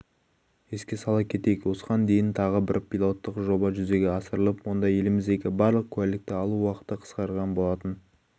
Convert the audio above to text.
еске сала кетейік осыған дейін тағы бір пилоттық жоба жүзеге асырылып онда еліміздегі барлық куәлікті алу уақыты қысқарған болатын